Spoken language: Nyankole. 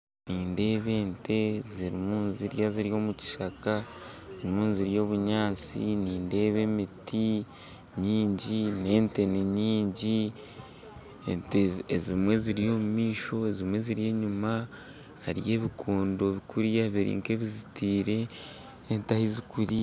Nindeeba ente zirimu nizirya ziri omu kishaka zirimu nizirya obunyaatsi nindeeba emiti nyingyi n'ente ni nyingyi ente ezimwe ziri omu maisho ezimu ziri enyuma hariyo ebikondo kuriya biri nka ebizitiire ente ahazikuriira